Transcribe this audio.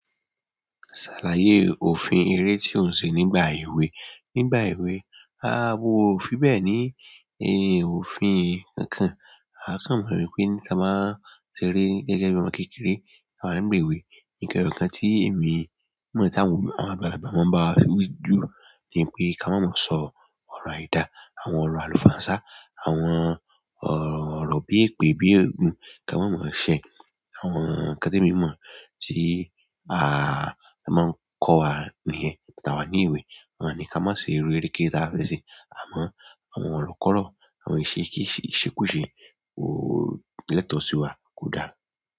Ṣàlàyé òfin eré tí ó ń ṣe nígbà èwe. Nígbà èwe, a mo fí bẹ́ẹ̀ ni èrè òfin kankan. A kàn mọ̀ wípé tí a bá ń ṣeré gẹ́gẹ́ bì ọmọ̀ kékeré, àwa ní ìwé. Nǹkan ẹyọkan tí èmi mọ̀ tí àwọn agbàlágbà máa ń bá wa sọ wí jù ni pé kí a má mọ̀ sọ ọ̀rọ̀ àìda, àwọn ọ̀rọ̀ àlùfàǹsá, àwọn ọ̀rọ̀ bí èpè, bí ègún kí a má mọ̀ ṣẹ. Àwọn nǹkan tí èmi mọ̀ tí a máa ń kọ́ wa nìyẹn. Tí àwa ní ewé, wọ́n máa ni kí á má ṣe iru eré kéré tià fẹ ṣe àmọ́ àwọn ọrọ́kọ̀rọ́, àwọn ìṣekúṣe kò lẹ́tọ̀ọ́ sí wa kò dára.